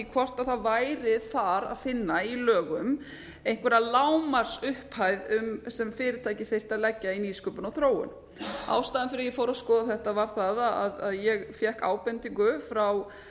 hvort það væri þar að finna í lögum einhverja lágmarksupphæð sem fyrirtækið þyrfti að leggja í nýsköpun og þróun ástæðan fyrir því að ég fór að skoða þetta var það að ég fékk ábendingu frá